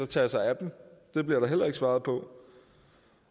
tage sig af dem det bliver der heller ikke svaret på